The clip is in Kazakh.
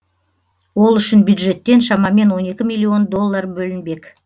ол үшін бюджеттен шамамен он екі миллион доллар бөлінбек